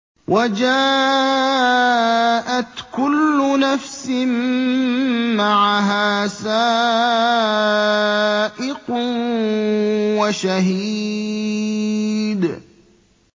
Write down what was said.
وَجَاءَتْ كُلُّ نَفْسٍ مَّعَهَا سَائِقٌ وَشَهِيدٌ